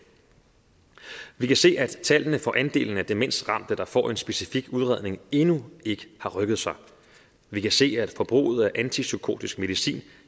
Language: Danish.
vi kan se at tallene for andelen af demensramte der får en specifik udredning endnu ikke har rykket sig vi kan se at forbruget af antipsykotisk medicin